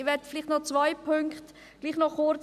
Ich möchte trotzdem noch auf zwei Punkte eingehen.